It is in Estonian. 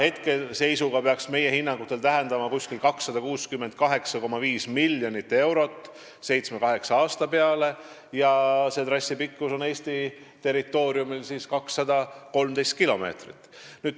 Hetkeseisuga peaks meie hinnangul tähendama umbes 268,5 miljonit eurot seitsme-kaheksa aasta peale ja trassi pikkus on Eesti territooriumil 213 kilomeetrit.